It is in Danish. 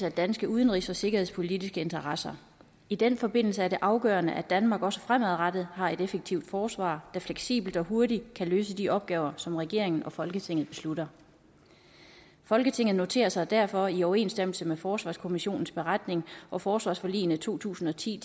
af danske udenrigs og sikkerhedspolitiske interesser i den forbindelse er det afgørende at danmark også fremadrettet har et effektivt forsvar der fleksibelt og hurtigt kan løse de opgaver som regeringen og folketinget beslutter folketinget noterer sig derfor i overensstemmelse med forsvarskommissionens beretning og forsvarsforligene to tusind og ti